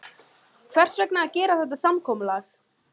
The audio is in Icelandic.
Hvers vegna að gera þetta samkomulag?